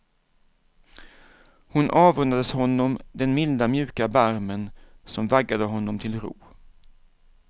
Hon avundades honom den milda mjuka barmen som vaggade honom till ro.